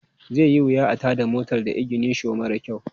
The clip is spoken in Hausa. Zai yi wuya a tada motar da iginisho mara kyau.